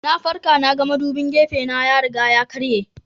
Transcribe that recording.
Na farka na ga madubin gefena ya riga ya karye.